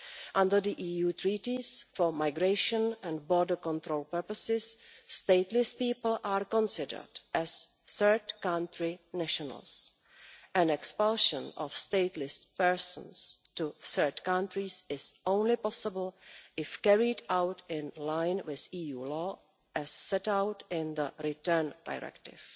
Under the EU Treaties, for migration and border control purposes, stateless people are considered as third country nationals, and expulsion of stateless persons to third countries is possible only if carried out in line with EU law as set out in the Return Directive.